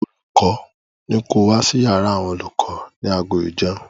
Olùkọ́ ní ko wá sí yàrá àwọn olùkọ ní aago ìjẹun.